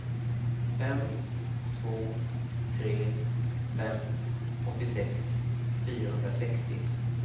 fem två tre fem åttiosex fyrahundrasextio